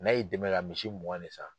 N'a y'i dɛmɛ k'a misi mugan de san.